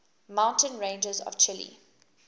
mountain ranges of chile